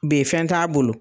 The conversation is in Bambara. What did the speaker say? Be fɛn t'a bolo